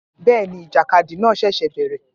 Bẹ́ẹ̀ ni, ìjàkadì náà ṣẹ̀ṣẹ̀ bẹ̀rẹ̀